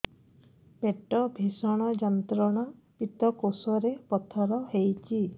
ପେଟ ଭୀଷଣ ଯନ୍ତ୍ରଣା ପିତକୋଷ ରେ ପଥର ହେଇଚି